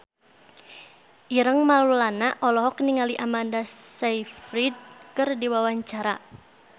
Ireng Maulana olohok ningali Amanda Sayfried keur diwawancara